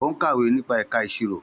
Ó ń kàwé nípa ẹ̀ka ìṣirò.